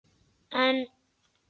En